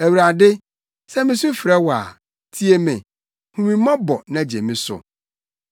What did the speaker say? Awurade, sɛ misu frɛ wo a, tie me! Hu me mmɔbɔ na gye me so!